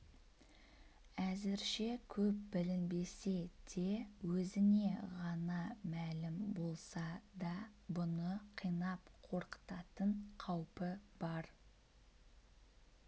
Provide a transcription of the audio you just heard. әзірше көп білінбесе де өзіне ғана мәлім болса да бұны қинап қорқытатын қаупі бар